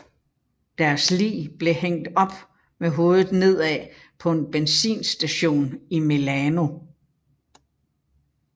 Deres lig blev hængt op med hovedet nedad på en benzinstation i Milano